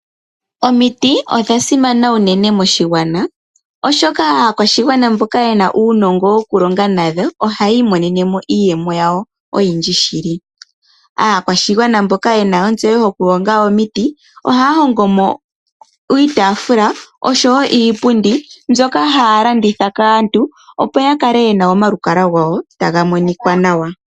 Omiti odha simana uunene moshigwana, oshoka aakwashigwana mboka yena uunongo wo ku longa nadho ohaya imonene mo iiyemo yawo oyindji shili. Aakwashigwana mboka yena ontseyo yokuhonga omiti ohaya hongo mo iitaafula oshowo iipundi mbyoka haya landitha kaantu, opo ya kale yena omalukalwa gawo taga monika nawa.